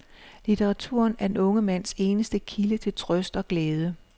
Litteraturen er den unge mands eneste kilde til trøst og glæde.